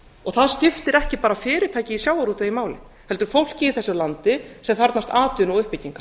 og það skiptir ekki bara fyrirtækin í sjávarútvegi máli heldur fólkið í þessu landi sem þarfnast atvinnu og uppbyggingar